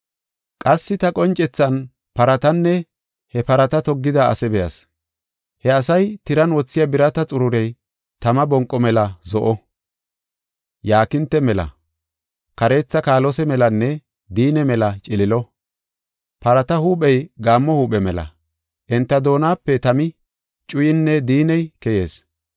Qassi ta qoncethan paratanne he parata toggida asaa be7as. He asay tiran wothiya birata xururey tama bonqo mela zo7o, yaakinte mela, kareetha kaalose melanne diinne mela ciliilo. Parata huuphey gaammo huuphe mela; enta doonape tami, cuyinne diinney keyis.